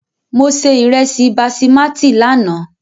Mo se ìrẹsì basimátì lánàá.